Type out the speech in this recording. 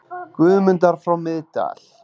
Guðmundar frá Miðdal.